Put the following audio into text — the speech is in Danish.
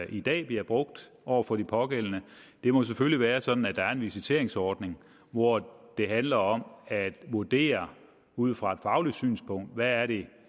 i dag bliver brugt over for de pågældende det må selvfølgelig være sådan at der er en visiteringsordning hvor det handler om at vurdere ud fra et fagligt synspunkt hvad det